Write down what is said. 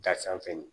Da sanfɛ